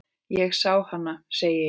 Ég sá hana, segi ég.